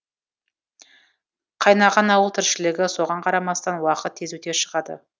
қайнаған ауыл тіршілігі соған қарамастан уақыт тез өте шығады